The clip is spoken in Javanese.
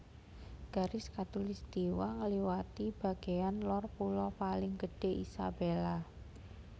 Garis khatulistiwa ngliwati bagéyan lor pulo paling gedhé Isabela